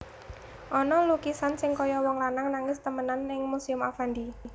Ono lukisan sing koyo wong lanang nangis temenan ning Museum Affandi